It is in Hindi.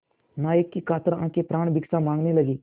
नायक की कातर आँखें प्राणभिक्षा माँगने लगीं